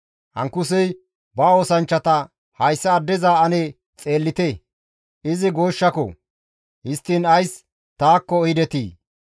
Ankusey ba oosanchchata, «Hayssa addeza ane xeellite; Izi goshshako! Histtiin ays taakko ehidetii?